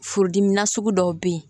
Furudimi na sugu dɔw bɛ yen